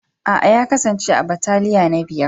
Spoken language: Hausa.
Aa, ya kasance a'bataliya na biyar.